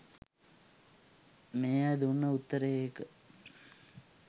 මේ අය දුන්න උත්තරේ ඒක